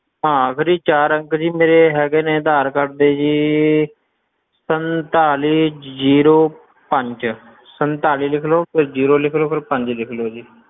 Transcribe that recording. ਹਾਂ ਆਖਰੀ ਚਾਰ ਅੰਕ ਜੀ ਮੇਰੇ ਹੈਗੇ ਨੇ ਅਧਾਰ ਕਾਰਡ ਦੇ ਜੀ ਸੰਤਾਲੀ zero ਪੰਜ ਸੰਤਾਲੀ ਲਿਖ ਲਓ ਫਿਰ zero ਲਿਖ ਲਓ, ਫਿਰ ਪੰਜ ਲਿਖ ਲਓ ਜੀ।